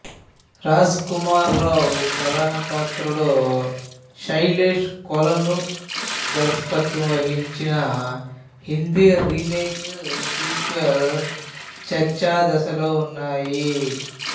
రాజ్ కుమార్ రావు ప్రధాన పాత్రలో సైలేష్ కోలను దర్శకత్వం వహించిన హిందీ రీమేక్ సీక్వెల్ చర్చాదశలో ఉన్నాయి